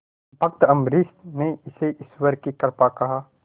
भक्त अम्बरीश ने इसे ईश्वर की कृपा कहा